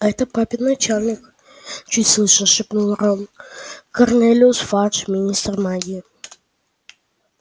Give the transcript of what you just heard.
это папин начальник чуть слышно шепнул рон корнелиус фадж министр магии